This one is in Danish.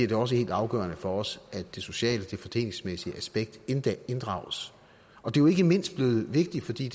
det også helt afgørende for os at det sociale det fordelingsmæssige aspekt inddrages og det er jo ikke mindst blevet vigtigt fordi